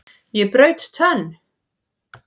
Ég braut tönn!